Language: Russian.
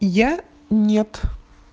я нет